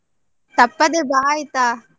ತಪ್ಪದೆ ಬಾ ಆಯ್ತಾ?